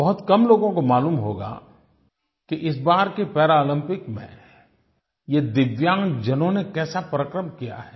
बहुत कम लोगों को मालूम होगा कि इस बार के पैरालम्पिक्स में ये दिव्यांगजनों ने कैसा पराक्रम किया है